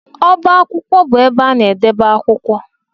Ọbá akwụkwọ bụ ebe ana edebe akwụkwọ.